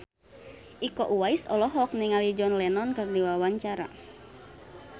Iko Uwais olohok ningali John Lennon keur diwawancara